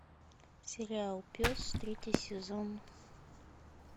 сериал пес третий сезон